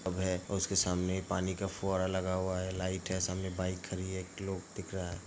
उसके सामने पानी का एक फुहारा लगा हुआ है लाइट है सामने बाइक खरी है। एक लोग दिख रहा है